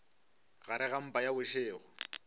gare ga mpa ya bošego